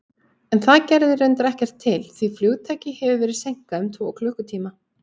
En það gerði reyndar ekkert til, því flugtaki hafði verið seinkað um tvo klukkutíma.